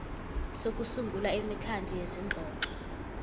sokusungula imikhandlu yezingxoxo